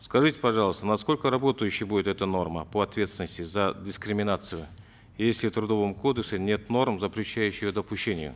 скажите пожалуйста насколько работающей будет эта норма по ответственности за дискриминацию если в трудовом кодексе нет норм запрещающих допущение